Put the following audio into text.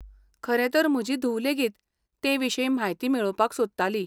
खरें तर म्हजी धूव लेगीत तेविशीं म्हायती मेळोवपाक सोदताली .